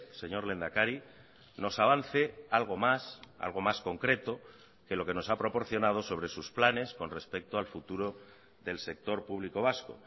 señor lehendakari nos avance algo más algo más concreto que lo que nos ha proporcionado sobre sus planes con respecto al futuro del sector público vasco